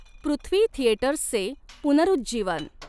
पृथ्वी थिएटर्सचे पुनरुज्जीवन.